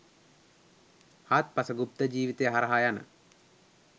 හාත්පස ගුප්ත ජිවිතය හරහා යන